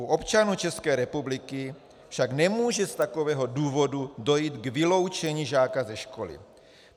U občanů České republiky však nemůže z takového důvodu dojít k vyloučení žáka ze školy.